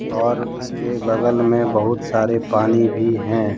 और इसके बगल में बहुत सारे पानी भी हैं।